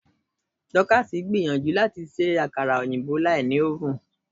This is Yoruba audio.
Dorcas ń gbìyànjú láti ṣe àkara òyìnbó láì lo oven.